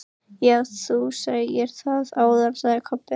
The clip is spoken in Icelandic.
Já, þú sagðir það áðan, sagði Kobbi.